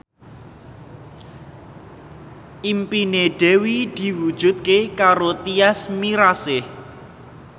impine Dewi diwujudke karo Tyas Mirasih